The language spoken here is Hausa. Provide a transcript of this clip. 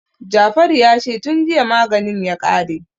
Jafaru ya ce "tun jiya maganin ya kare".